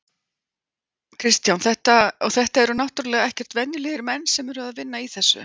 Kristján: Og þetta eru náttúrulega ekkert venjulegir menn sem að eru að vinna í þessu?